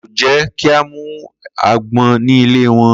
Ko je ki a mu agbon ni ile won